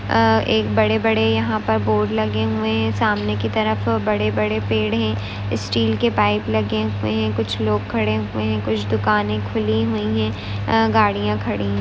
आ एक बड़े बड़े यहा पे बोर्ड लगे हुवे है सामने की तरफ बड़े बड़े पेड़ है स्टील के पाइप लगे हुवे है कुछ लोग खड़े हुवे है कुछ दुकाने खुली हुई है आ गाड़िया खड़ी है।